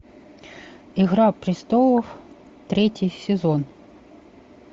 игра престолов третий сезон